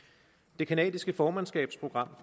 det canadiske formandskabsprogram